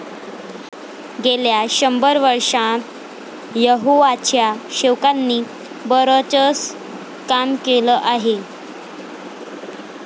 गेल्या शंभर वर्षांत यहोवाच्या सेवकांनी बरंचसं काम केलं आहे.